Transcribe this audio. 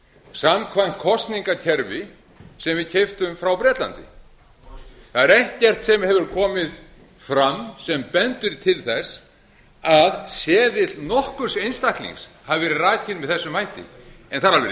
samkvæmt kosningakerfi sem við keyptum frá bretlandi það er ekkert sem hefur komið fram sem bendir til þess að seðill nokkurs einstaklings hafi verið rakinn með þessum hætti en það